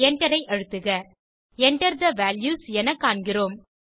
எண்டரை அழுத்துக Enter the values என காண்கிறோம்